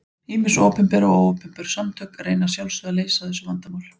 Ýmis opinber og óopinber samtök reyna að sjálfsögðu að leysa þessu vandamál.